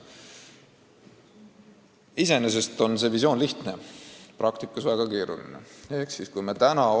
Iseenesest on visioon lihtne, praktikas aga väga keeruline teostada.